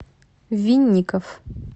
винников